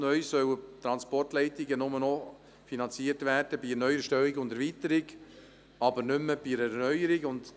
Neu sollen Transportleitungen nur noch bei der Neuerstellung und bei der Erweiterung finanziert werden, aber nicht mehr bei der Erneuerung.